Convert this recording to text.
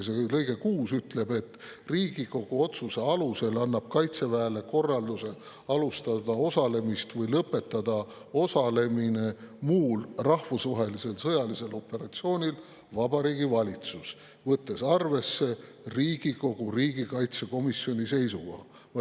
See lõige ütleb, et Riigikogu otsuse alusel annab Kaitseväele korralduse alustada osalemist või lõpetada osalemine muul rahvusvahelisel sõjalisel operatsioonil Vabariigi Valitsus, võttes arvesse Riigikogu riigikaitsekomisjoni seisukoha.